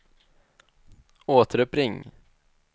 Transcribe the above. återuppring